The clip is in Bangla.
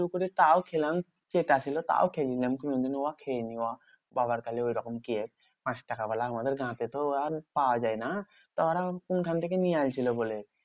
করে তাও খেলাম। চেটা ছিল তাও খেয়ে নিলাম। কোনোদিন উহা খেয়ে নি উহা বাবার কালে ঐরকম কেক। পাঁচটাকা ওয়ালা আমার গাঁ তে ওরম পাওয়া যায় না। তা ওরা কোনখান থেকে নিয়ে আইল ছিল বলে?